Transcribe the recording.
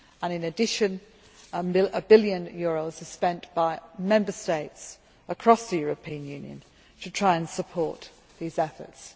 In addition, EUR 1 billion are spent by Member States across the European Union to try and support these efforts.